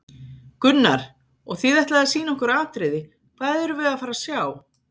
Gunnar: Og þið ætlið að sýna okkur atriði, hvað erum við að fara að sjá?